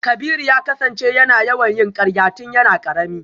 Kabiru ya kasance yana yawan yin karya tun yana karami.